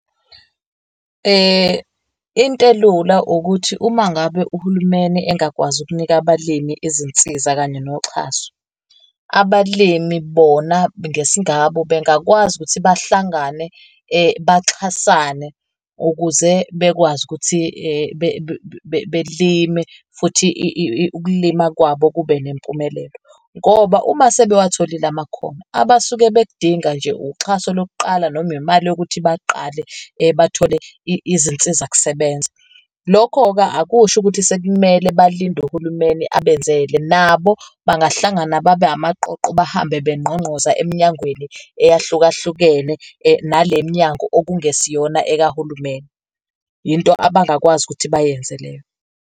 Into elula ukuthi uma ngabe uhulumeni engakwazi ukunika abalimi izinsiza kanye noxhaso, abalimi bona ngesingabo bengakwazi ukuthi bahlangane baxhasane ukuze bekwazi ukuthi belime futhi ukulima kwabo kube nempumelelo. Ngoba uma sebewatholile ama kukhono abasuke bek'dinga nje uxhaso lokuqala noma imali yokuthi baqale bathole izinsizakusebenza. Lokho-ke akusho ukuthi sekumele balinde uhulumeni abenzele, nabo bahlangana babe amaqoqo bahambe bengqongqoza eminyangweni eyahlukahlukene, nale mnyango okungesiyona ekahulumeni. Yinto abakwazi ukuthi bayenze leyo.